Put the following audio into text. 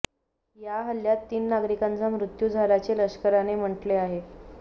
या हल्ल्यात तीन नागरिकांचा मृत्यू झाल्याचे लष्कराने म्हटले आहे